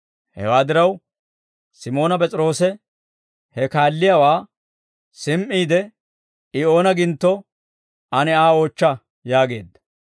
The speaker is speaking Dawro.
Hewaa diraw, Simoona P'es'iroose he kaalliyaawaa simi"iide, «I oona gintto, ane Aa oochcha» yaageedda.